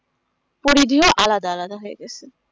করি দিয়ে আলাদা আলাদা হয়ে গেছে